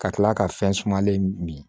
Ka kila ka fɛn sumalen min